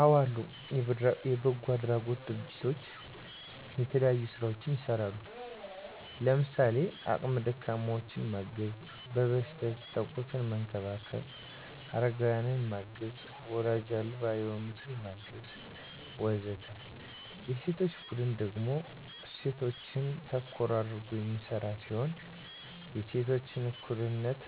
አዎ አሉ። የበጎ አድራጎት ድርጅቶች የተለያዩ ስራዎችን ይሰራሉ። ለምሳሌ:- አቅመ ደካማዎችን ማገዝ፣ በበሽታ የተጠቁትን መንከባከብ፣ አረጋውያንን ማገዝ፣ ዎላጅ አልባ የሆኑትን ማገዝ ... ወዘተ። የሴቶች ቡድን ደግሞ እሴቶችን ተኮር አድርጎ የሚሰራ ሲሆን የሴቶችን እኩልነት